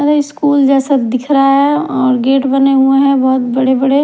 वे school जैसा दिख रहा है और गेट बने हुए हैं बहुत बड़े बड़े।